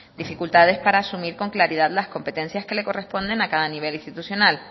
dificultades para asumir con claridad las competencias que le corresponden a cada nivel institucional